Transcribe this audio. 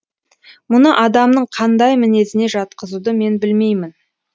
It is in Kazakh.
мұны адамның қандай мінезіне жатқызуды мен білмеймін